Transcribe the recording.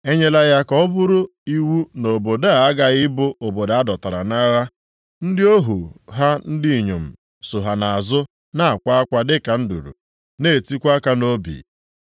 E nyela ya ka ọ bụrụ iwu na obodo a aghaghị ịbụ obodo a dọtara nʼagha. Ndị ohu ha ndị inyom so ha nʼazụ na-akwa akwa dịka nduru, na-etikwa aka nʼobi.